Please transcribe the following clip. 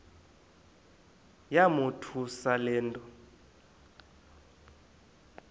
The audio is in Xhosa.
yamothusa le nto